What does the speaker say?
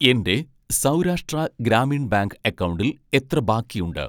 എൻ്റെ സൗരാഷ്ട്ര ഗ്രാമീൺ ബാങ്ക് അക്കൗണ്ടിൽ എത്ര ബാക്കിയുണ്ട്